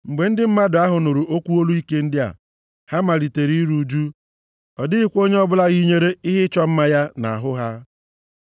Mgbe ndị mmadụ ahụ nụrụ okwu olu ike ndị a, ha malitere iru ụjụ, ọ dịghịkwa onye ọbụla yinyere ihe ịchọ mma ya nʼahụ ha.